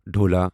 ڈھولا